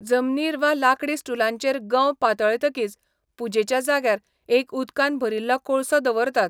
जमनीर वा लाकडी स्टूलाचेर गंव पातळायतकीच पुजेच्या जाग्यार एक उदकान भरिल्लो कोळसो दवरतात.